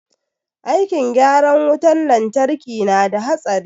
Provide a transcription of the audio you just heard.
Aikin gyaran wutan lantraki na da hatsari